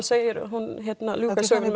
segir hún ljúka sögunni